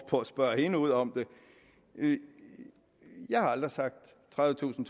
på at spørge hende ud om det jeg har aldrig sagt tredivetusind